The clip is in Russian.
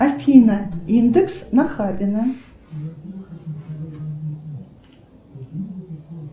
афина индекс нахабино